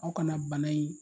Aw kana bana in